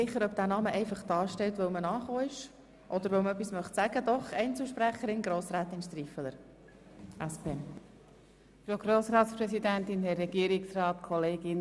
Ich bin schon ausserordentlich erstaunt, dass wir hier im Grossen Rat über solch marginale Beträge diskutieren.